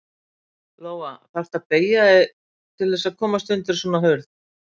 Lóa: Þarftu að beygja þig til þess að komast undir svona hurð?